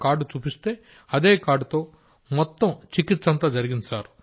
ఆ కార్డు చూపిస్తే అదే కార్డ్ తో మొత్తం చికిత్స అంతా జరిగింది